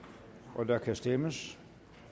og der kan stemmes